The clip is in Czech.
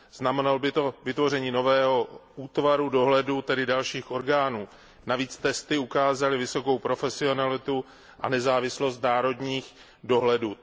Znamenalo by to vytvoření nového útvaru dohledu, tedy dalších orgánů. Navíc testy ukázaly vysokou profesionalitu a nezávislost národních dohledů.